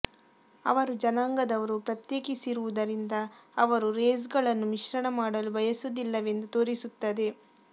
ಅವರು ಜನಾಂಗದವರು ಪ್ರತ್ಯೇಕಿಸಿರುವುದರಿಂದ ಅವರು ರೇಸ್ಗಳನ್ನು ಮಿಶ್ರಣ ಮಾಡಲು ಬಯಸುವುದಿಲ್ಲವೆಂದು ತೋರಿಸುತ್ತದೆ